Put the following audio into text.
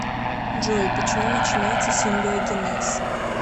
джой почему начинается симбиогенез